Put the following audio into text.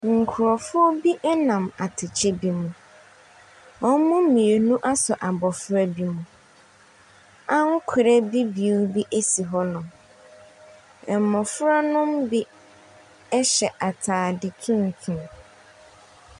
Nkorɔfo bi nam atekyɛ bi mu. Wɔn mmienu asɔ abɔfra bi mu. Ankorɛ bibiw esi hɔnom. Mmora no bi hyɛ ataade tuntum.